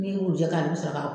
Nin y'u jɔ ka a bɛ sɔrɔ ka